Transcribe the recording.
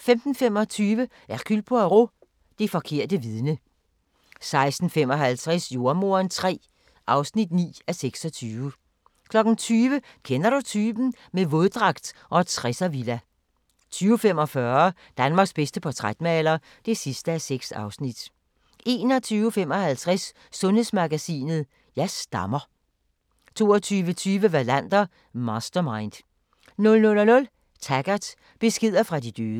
15:25: Hercule Poirot: Det forkerte vidne 16:55: Jordemoderen III (9:26) 20:00: Kender du typen? - med våddragt og 60'er-villa 20:45: Danmarks bedste portrætmaler (6:6) 21:55: Sundhedsmagasinet: Jeg stammer 22:20: Wallander: Mastermind 00:00: Taggart: Beskeder fra de døde